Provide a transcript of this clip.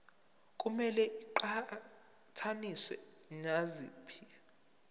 kumele iqhathaniswe naziphi